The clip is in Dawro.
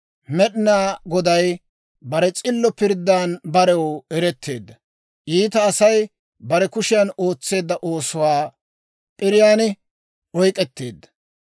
Med'inaa Goday bare s'illo pirddan barew eretteedda; iita Asay bare kushiyan ootseedda oosuwaa p'iriyaan oyk'k'etteedda.